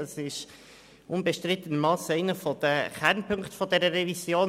Es ist unbestrittenermassen einer der Kernpunkte dieser Revision.